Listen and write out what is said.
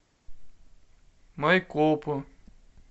майкопу